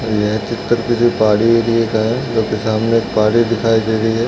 यह चित्र किसी पहाड़ी एरिया का है क्योंकि सामने एक पहाड़ी दिखाई दे रही है।